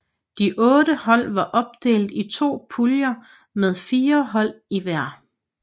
De otte hold var opdelt i to puljer med fire hold i hver